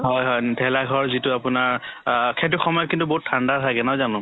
হয় হয় ভেলাঘৰ যিটো আপোনাৰ অ সেইটো সময়ত কিন্তু বহুত ঠাণ্ডা থাকে নহয় জানো